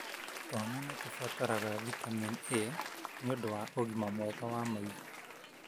Twana nĩtũrabataraga vitamin A nĩũndu wa ũgima mwega wa maitho.